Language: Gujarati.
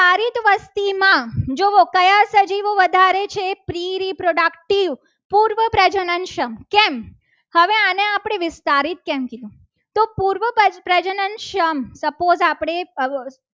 Productive પૂર્વ પ્રજનન શક્તિ કેમ હવે આને આપણે વિસ્તારીત કેમ કીધું. તો પૂર્વ પ્રજનન સમ suppose આપણે